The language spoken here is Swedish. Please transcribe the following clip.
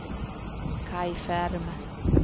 Kaj Ferm